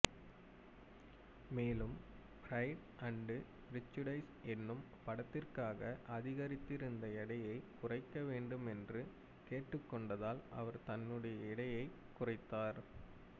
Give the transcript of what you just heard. மேலும் Pride and Prejudice எனும் படத்திற்காக அதிகரித்திருந்த எடையை குறைக்க வேண்டுமென்று கேட்டுக்கொண்டதால் அவர் தன்னுடைய எடையைக் குறைத்தார்